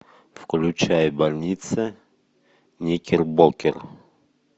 включай больница никербокер